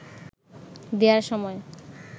দেয়ার সময়